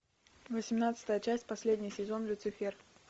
восемнадцатая часть последний сезон люцифер